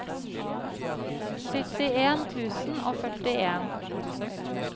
syttien tusen og førtien